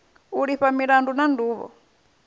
u lifha milandu na nduvho